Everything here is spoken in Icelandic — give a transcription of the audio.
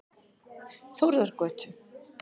Þórðargötu